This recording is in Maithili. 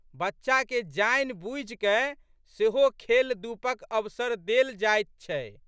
बच्चाके जानिबूझिकए सेहो खेलधूपक अवसर देल जाइत छै।